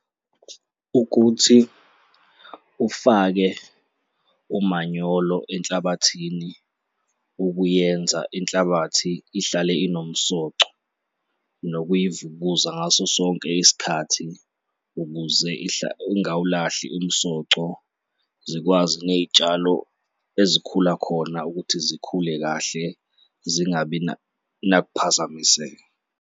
Ukuthi ufake umanyolo enhlabathini ukuyenza inhlabathi ihlale inomsoco nokuyivukuza ngaso sonke isikhathi ukuze ingawulahli umsoco, zikwazi ney'tshalo ezikhula khona ukuthi zikhule kahle zingabi nakuphazamiseka.